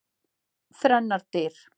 Þrennar dyr.